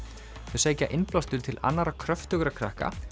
þau sækja innblástur til annarra kröftugra krakka